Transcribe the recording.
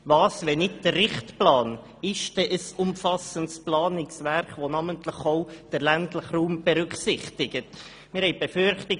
Was ist denn ein umfassendes Planungswerk, das namentlich auch den ländlichen Raum berücksichtigt, wenn nicht der Richtplan?